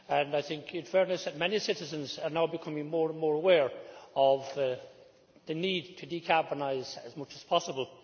In fairness, many citizens are now becoming more and more aware of the need to decarbonise as much as possible.